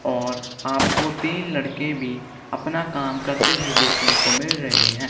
और आपको तीन लड़के भी अपना काम करते हुए देखने को मिल रहे हैं।